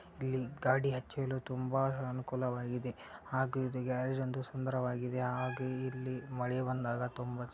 ತುಂಬ ಅನುಕೂಲವಾಗಿದೆ ಹಾಗೆ ಇದ ಗ್ಯಾರೇಜ್ ಅಂತೂ ಸುಂದರವಾಗಿದೆ ಹಾಗು ಇಲ್ಲಿ ಮಳೆ ಬಂದಾಗ --